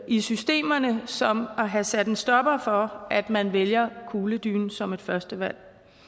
i systemerne som at have sat en stopper for at man vælger kugledynen som et førstevalg